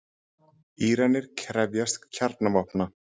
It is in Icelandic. Íranar krefjast kjarnavopna